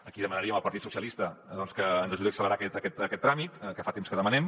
aquí demanaríem al partit socialista doncs que ens ajudi a accelerar aquest tràmit que fa temps que ho demanem